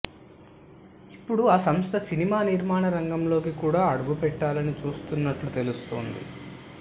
ఇప్పుడు ఆ సంస్థ సినిమా నిర్మాణ రంగంలోకి కూడా అడుగుపెట్టాలని చూస్తున్నట్లు తెలుస్తోంది